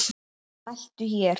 Smelltu hér.